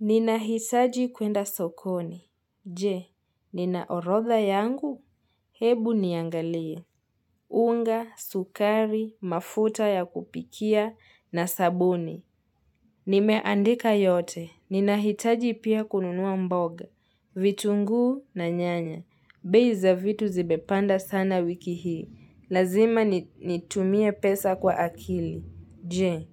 Ninahitaji kwenda sokoni. Je, nina orodha yangu? Hebu niangalie. Unga, sukari, mafuta ya kupikia na sabuni. Nimeandika yote. Ninahitaji pia kununua mboga. Vitunguu na nyanya. Bei za vitu zimepanda sana wiki hii. Lazima nitumie pesa kwa akili. Je,